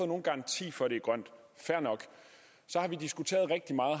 nogen garanti for at det er grønt fair nok så har vi diskuteret rigtig meget